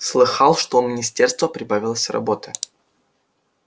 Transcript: слыхал что у министерства прибавилось работы